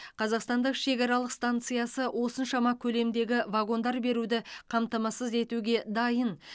қазақстандық шекаралық станциясы осыншама көлемдегі вагондар беруді қамтамасыз етуге дайын